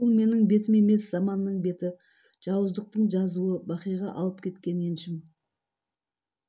бұл менің бетім емес заманның беті жауыздықтың жазуы бақиға алып кеткен еншім